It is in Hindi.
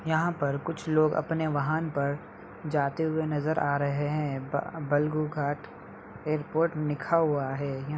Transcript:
यहाँ पर कुछ लोग अपने वाहन पर जाते हुए नजर आ रहे हैं। बल बालोरघाट एरपोर्ट लिखा हुआ है। यहाँ --